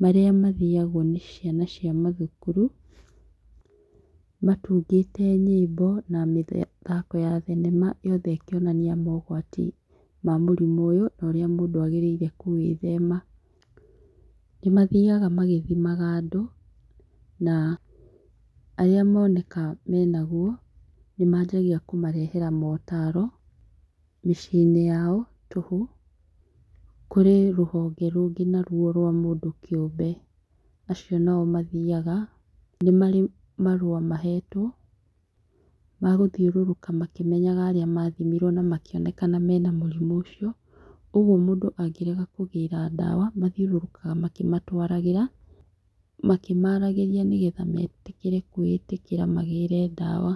marĩa mathiagwo nĩ ciana cia mathukuru matungĩte nyĩmbo na mĩthako ya thenema yothe makĩonania mogwati ma mũrimũ ũyũ na ũrĩa mũndũ agĩrĩire kũĩthema ,nĩmathiaga magĩthimaga andũ na arĩa moneka menawo nĩmajagĩa kũmarehera mũtaro mĩcinĩ yao tũhu kũrĩ rũhonge rũngĩ naruo rwa mũndũ kĩũmbe acio nao mathiaga nĩmarĩ marũa mahetwo magũthiũrũrũka makĩmenyaga arĩa mathimirwo na makĩonekana mena mũrĩmũ ũcio, kwoguo mũndũ angĩkĩrega kũgĩra ndawa mathiũrũrũkaga makĩmatwaragĩra makĩmaragĩrĩa nĩgetha metĩkĩre kwĩĩtĩkĩra magĩre ndawa.